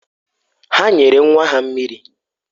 Ha nyere nwa ha mmiri.